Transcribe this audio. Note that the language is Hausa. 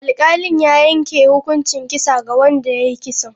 Alkalin ya yanke hukuncin kisa ga wanda ya yi kisan.